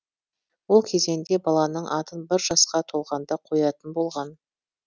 ол кезеңде баланың атын бір жасқа толғанда қоятын болған